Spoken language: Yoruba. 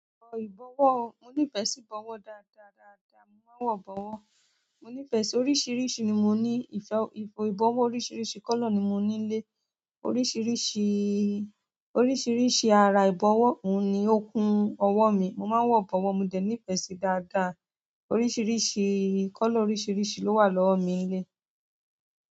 Ìbọ̀wọ́, mo nífẹ̀ẹ́ sí ìbọ̀wọ́ dáadáa, dáadáa. Mo máa ń wọ ìbọ̀wọ́. Mo nífẹ̀ẹ́ sí oríṣiríṣi ni mo ní ìfẹ́, ìbọ̀wọ́ oríṣiríṣi colour ni mo ni nílé. Oríṣiríṣi, oríṣiríṣi ara ìbọ̀wọ́ oun ni ó kún ọwọ́ mi. Mo máa ń wọ ìbọ̀wọ́, mo dẹ̀ nífẹ̀ẹ́ sí dáadáa. Oríṣiríṣi colour oríṣiríṣi lo wa lowo mi.